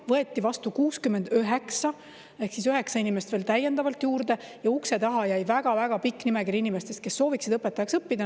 Võeti vastu 69 ehk siis üheksa inimest veel täiendavalt juurde ja ukse taha jäi väga-väga pikk nimekiri inimestest, kes sooviksid õpetajaks õppida.